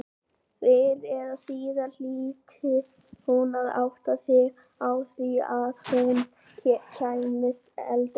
Fyrr eða síðar hlyti hún að átta sig á því að hún kæmist aldrei inn.